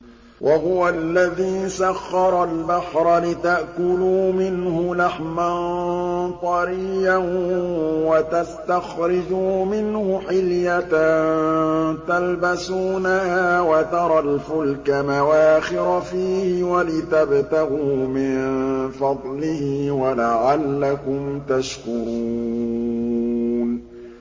وَهُوَ الَّذِي سَخَّرَ الْبَحْرَ لِتَأْكُلُوا مِنْهُ لَحْمًا طَرِيًّا وَتَسْتَخْرِجُوا مِنْهُ حِلْيَةً تَلْبَسُونَهَا وَتَرَى الْفُلْكَ مَوَاخِرَ فِيهِ وَلِتَبْتَغُوا مِن فَضْلِهِ وَلَعَلَّكُمْ تَشْكُرُونَ